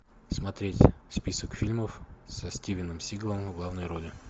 смотреть список фильмов со стивеном сигалом в главной роли